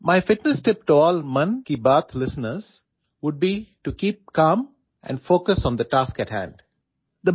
my fitness tip to all Mann Ki Baat listeners would be to keep calm and focus on the task ahead